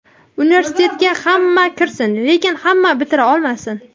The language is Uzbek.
"Universitetga hamma kirsin, lekin hamma bitira olmasin".